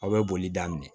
Aw bɛ boli daminɛ